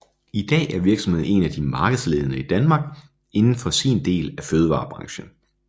I dag er virksomheden en af de markedsledende i Danmark indenfor sin del af fødevarebranchen